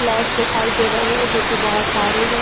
Flat देखाई दे रहे हैं जोकि बहोत सारे हैं।